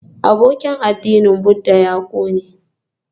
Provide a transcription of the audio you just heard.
Abokin addinin Buddha ya ƙone